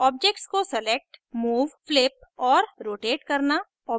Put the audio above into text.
objects को select move flip और rotate करना